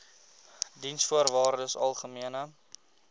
diensvoorwaardesalgemene